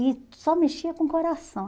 E só mexia com o coração.